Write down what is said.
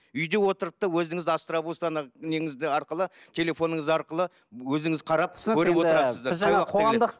үйде отырып та өзіңіз острабустан неңізді арқылы телефоңыз арқылы өзіңіз қарап